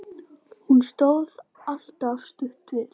Hún stóð alltaf stutt við.